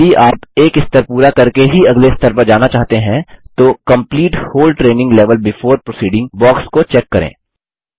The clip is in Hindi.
यदि आप एक स्तर पूरा करके ही अगले स्तर पर जाना चाहते हैं तो complete whole training level before proceeding box को चेक करें